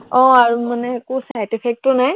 আহ আৰু মানে সেইটো side effect ও নাই